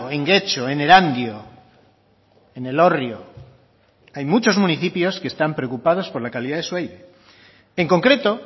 en getxo en erandio en elorrio hay muchos municipios que están preocupados por la calidad de su aire